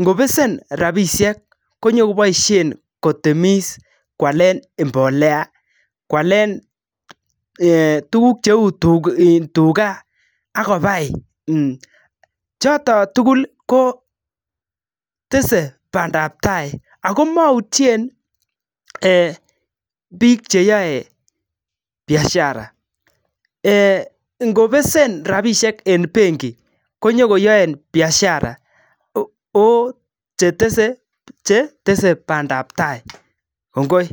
ngobesen rabishek konyokoboishen kotemis koalen mbolea , koalen tuugk cheu tuga, ak kobai. Choton tugul ko tese bandap tai ago moutyen biik che yoe biashara ngobesen rabishek en benki konyokoyoen biashara oh chetese bandap tai. Kongoi.